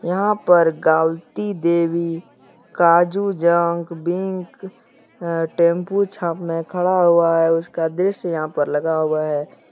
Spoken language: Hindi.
यहां पर गालती देवी काजू जंग बैंक अह टेंपो सामने खड़ा हुआ है उसका दृश्य यहां पर लगा हुआ है।